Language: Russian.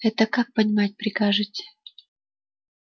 это как понимать прикажете